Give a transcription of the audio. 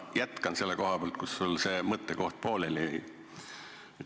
Ma jätkan selle koha pealt, kus sul mõte pooleli jäi.